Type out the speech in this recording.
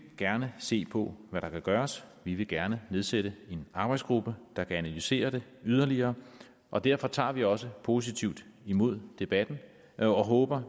gerne se på hvad der kan gøres vi vil gerne nedsætte en arbejdsgruppe der kan analysere det yderligere og derfor tager vi også positivt imod debatten og håber